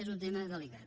és un tema delicat